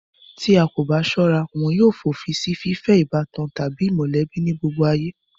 Tí a bà kò bá sọ́ra, wọn yóò fòfin si fífẹ́ ìbátan tàbí mọ̀lẹ́bí ní gbogbo ayé